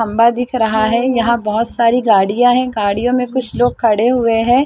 खम्बा दिख रहा है यहाँ बहोत सारी गाड़ियां है गाड़ियों में कुछ लोग खड़े हुए है।